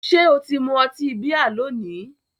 Ṣé o ti mu ọtí bíà lónìí?